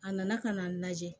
A nana ka n'a lajɛ